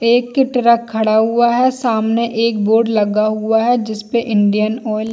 एक ही ट्रक खड़ा हुआ है सामने एक बोर्ड लगा हुआ है जिस पे इंडियन ऑयल --